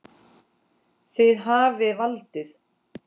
Þið hafið valdið.